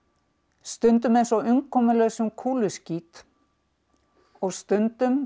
stundum eins og umkomulausum kúluskít og stundum